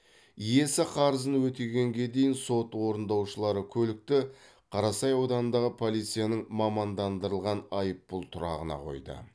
иесі қарызын өтегенге дейін сот орындаушылары көлікті қарасай ауданындағы полицияның мамандандырылған айыппұл тұрағына қойды